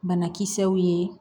Banakisɛw ye